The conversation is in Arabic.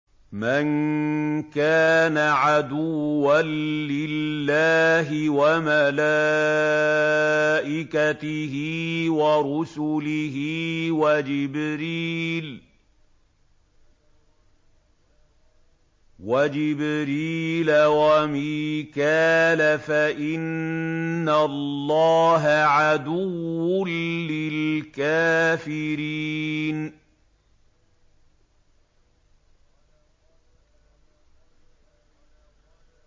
مَن كَانَ عَدُوًّا لِّلَّهِ وَمَلَائِكَتِهِ وَرُسُلِهِ وَجِبْرِيلَ وَمِيكَالَ فَإِنَّ اللَّهَ عَدُوٌّ لِّلْكَافِرِينَ